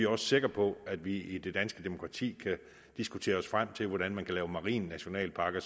også sikre på at vi i det danske demokrati kan diskutere os frem til hvordan man kan lave marine nationalparker